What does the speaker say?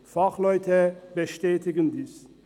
Fachleute bestätigen dies.